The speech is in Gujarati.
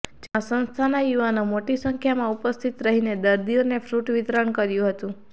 જેમાં સંસ્થાના યુવાનો મોટી સંખ્યામાં ઉપસ્થિત રહીને દર્દીઓને ફ્રૂટ વિતરણ કર્યું હતું